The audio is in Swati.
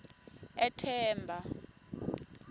ethemba